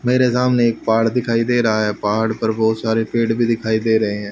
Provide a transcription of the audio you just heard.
मेरे सामने एक पहाड़ दिखाई दे रहा है पहाड़ पर बहुत सारे पेड़ भी दिखाई दे रहे हैं।